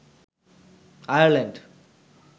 Ireland